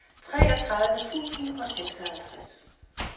treogtredive tusind og seksoghalvtreds